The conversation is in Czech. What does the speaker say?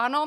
Ano.